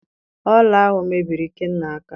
Ọla ahụ mebiri Ikenna aka